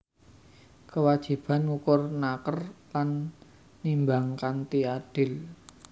Kewajiban ngukur naker lan nimbang kanthi adil